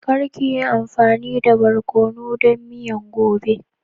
Kar ka yi amfani da barkonu don miyan gobe!